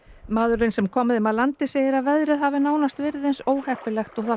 maðurinn sem kom þeim að landi segir að veðrið hafi nánast verið eins óheppilegt og það